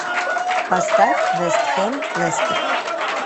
поставь вест хэм лестер